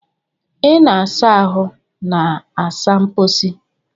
Ị na-asa ahụ na saa mposi.